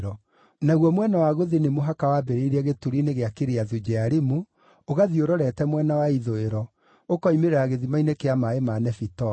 Naguo mwena wa gũthini mũhaka waambĩrĩirie gĩturi-inĩ kĩa Kiriathu-Jearimu, ũgathiĩ ũrorete mwena wa ithũĩro, ũkoimĩrĩra gĩthima-inĩ kĩa maaĩ ma Nefitoa.